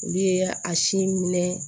Olu ye a si minɛ